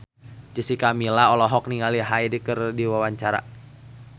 Jessica Milla olohok ningali Hyde keur diwawancara